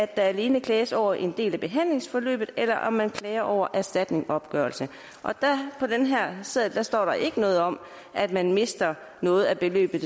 der alene klages over en del af behandlingsforløbet eller om man klager over erstatningsopgørelsen på den her seddel står der ikke noget om at man mister noget af beløbet